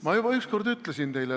Ma juba üks kord ütlesin teile.